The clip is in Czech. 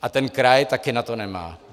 A ten kraj taky na to nemá.